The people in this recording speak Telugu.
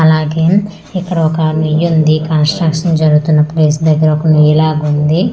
అలాగే ఇక్కడొక్కా నుయ్యింది కన్స్ట్రక్షన్ జరుగుతున్న ప్లేస్ దగ్గర ఒక నుయ్యి లాగుంది.